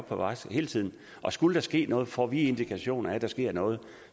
på vagt hele tiden og skulle der ske noget får vi indikationer af at der sker noget